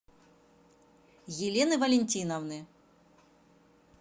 елены валентиновны